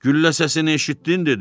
Güllə səsini eşitdin dedi.